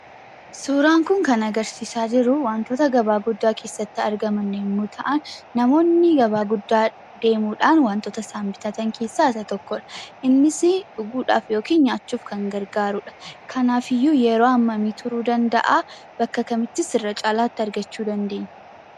Suuraan kun kan agarsiisaa jiru wantoota gabaa guddaa keessatti argaman yemmuu ta'an, namoonni gabaa guddaa deemuudhaan wantoota isaan bitatan keessaa isa tokkodha. Innis dhuguudhaaf yookiin nyaachuuf kan gargaaruudha. Kanaaf iyyuu yeroo hammamii turuu danda'aa? Bakka kamittis irra caalaatti argachuu dandeenya?